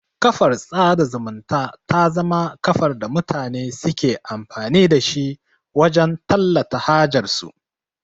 Kafar sada zumunta ta zama kafar da mutane suke amfani da shi wajan tallata hajar su